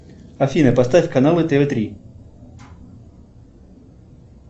афина поставь каналы тв три